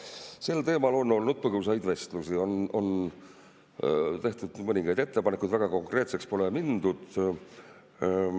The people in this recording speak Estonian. Jaa, sel teemal on olnud põgusaid vestlusi, on tehtud mõningaid ettepanekuid, aga väga konkreetseks pole mindud.